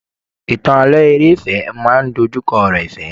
Ìtàn ààlọ́ eré ìfẹ máa n dojukọ ọ̀rọ̀ ìfẹ.